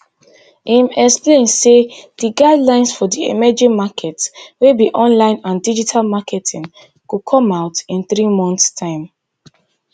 im explain say di guidelines for di emerging market wey be online and digital marketing go come out in three months time